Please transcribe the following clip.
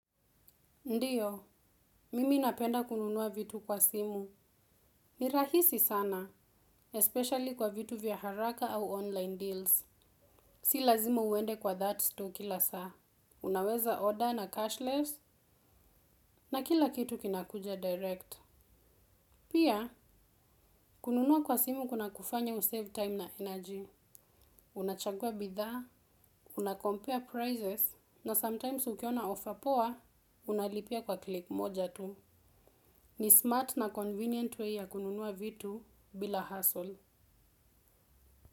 Ndiyo, mimi napenda kununua vitu kwa simu. Ni rahisi sana. Especially kwa vitu vya haraka au online deals. Si lazima uende kwa that's store kila saa. Unaweza order na cashless, na kila kitu kinakuja direct. Pia, kununua kwa simu kuna kufanya usave time na energy. Unachagua bithaa, unakompare prizes, na sometimes ukiona offer poa, unalipia kwa klik moja tu. Ni smart na convenient way ya kununua vitu, bila husttle.